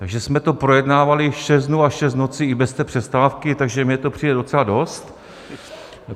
Takže jsme to projednávali šest dnů a šest nocí i bez té přestávky, takže mně to přijde docela dost.